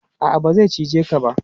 A'a, ba zai cije ka ba.